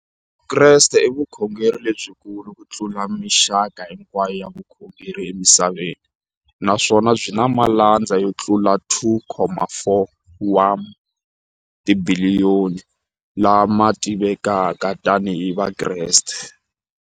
Vukreste i vukhongeri lebyikulu kutlula mixaka hinkwayo ya vukhongeri emisaveni, naswona byi na malandza yo tlula 2.4 wa tibiliyoni, la ma tiviwaka tani hi Vakreste.